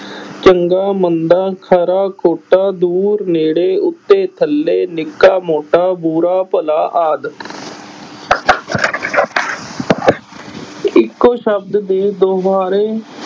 ਚੰਗਾ ਮੰਦਾ, ਖਰਾ ਖੋਟਾ, ਦੂਰ ਨੇੜੇ, ਉੱਤੇ ਥੱਲੇ, ਨਿੱਕਾ ਮੋਟਾ, ਬੁਰਾ ਭਲਾ ਆਦਿ ਇੱਕੋ ਸ਼ਬਦ ਦੇ ਦੁਬਾਰੇ